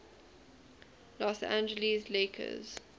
los angeles lakers